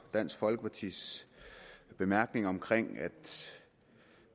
og dansk folkepartis bemærkning om at